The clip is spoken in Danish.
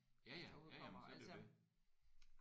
Ja ja ja ja men så er det jo det